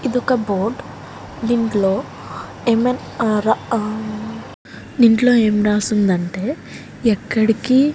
ఇదొక బోర్డ్ దీంట్లో ఏం మ్మ్ ఆ దీంట్లో ఏం రాసిందంటే ఎక్కడికీ --